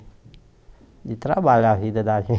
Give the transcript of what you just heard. De trabalho a vida da